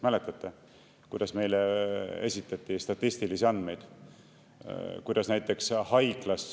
Mäletate, kuidas meile esitati statistilisi andmeid?